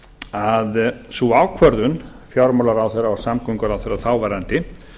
að sú ákvörðun fjármálaráðherra og samgönguráðherra þáverandi